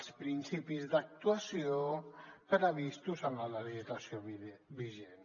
els principis d’actuació previstos en la legislació vigent